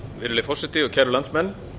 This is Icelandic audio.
virðulegi forseti kæru landsmenn